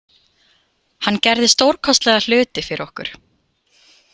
Hann gerði stórkostlega hluti fyrir okkur.